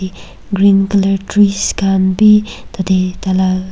green colour trees khan bi tate .]